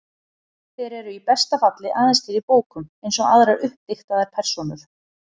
Þeir eru í besta falli aðeins til í bókum, eins og aðrar uppdiktaðar persónur.